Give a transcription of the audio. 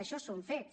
això són fets